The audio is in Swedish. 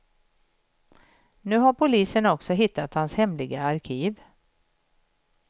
Nu har polisen också hittat hans hemliga arkiv.